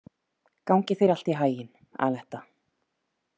Gangi þér allt í haginn, Aletta.